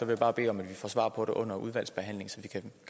jeg bare bede om at vi får svar på det under udvalgsbehandlingen så vi kan